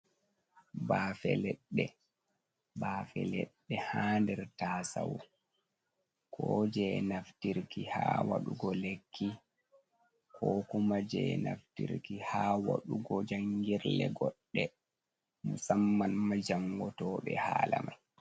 Bafe leɗɗe, bafe leɗɗe ha nder tasau, kuje naftirki ha waɗugo lekki, ko kuma je naftirki ha wɗdugo jangirle goɗɗe, musamman majango toɓe hala mai.